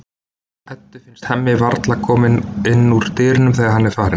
Eddu finnst Hemmi varla kominn inn úr dyrunum þegar hann er farinn.